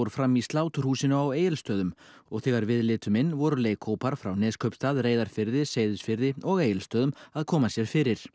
fram í sláturhúsinu á Egilsstöðum og þegar við litum inn voru leikhópar frá Neskaupstað Reyðarfirði Seyðisfirði og Egilsstöðum að koma sér fyrir